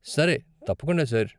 సరే, తప్పకుండా, సార్.